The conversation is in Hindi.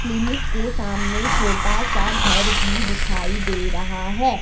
क्लीनिक के सामने छोटा सा घर भी दिखाई दे रहा है।